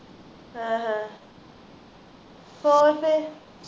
ਹਾਂ ਹਾਂ ਹੋਰ ਫੇਰ